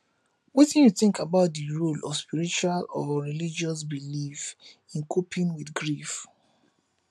wetin you think about di role of spiritual or religious beliefs in coping with grief